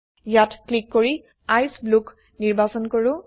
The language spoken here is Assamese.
ইয়াত ক্লিক কৰি আইচিই Blueত নিৰ্বাচন কৰো